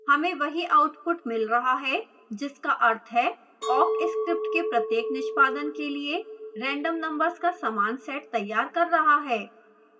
हमें we output मिल रहा है जिसका अर्थ हैं awk script के प्रत्येक निष्पादन के लिए random numbers का समान set तैयार कर रहा है